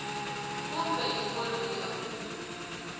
kumbe i wo riha kumbe